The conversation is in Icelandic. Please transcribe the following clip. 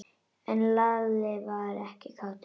En Lalli var ekkert kátur.